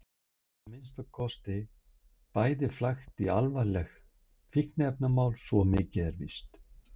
Þau eru að minnsta kosti bæði flækt í alvarlegt fíkniefnamál, svo mikið er víst.